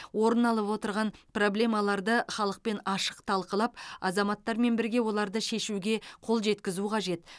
орын алып отырған проблемаларды халықпен ашық талқылап азаматтармен бірге оларды шешуге қол жеткізу қажет